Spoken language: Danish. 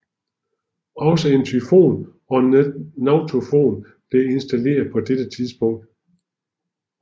Også en Typhoon og en nautofon blev installeret på dette tidspunkt